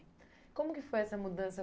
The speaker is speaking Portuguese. Como que foi essa mudança?